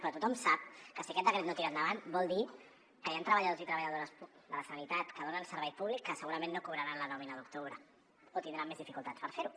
però tothom sap que si aquest decret no tira endavant vol dir que hi han treballadors i treballadores de la sanitat que donen servei públic que segurament no cobraran la nòmina d’octubre o tindran més dificultats per fer ho